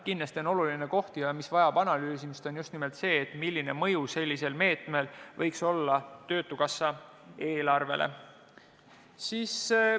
Kindlasti on oluline koht, mis vajab analüüsimist, just nimelt see, milline mõju võiks sellisel meetmel olla töötukassa eelarvele.